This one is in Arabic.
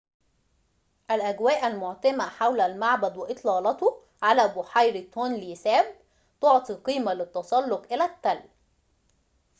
الأجواء المعتمة حول المعبد وإطلالته على بحيرة تونلي ساب تعطي قيمة للتسلق إلى التل